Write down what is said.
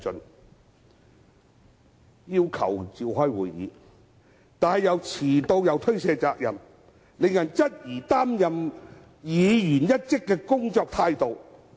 有議員要求召開會議，自己卻遲到及推卸責任，令人質疑該等議員的工作態度。